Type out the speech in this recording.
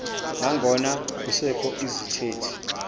nangona kusekho izithethi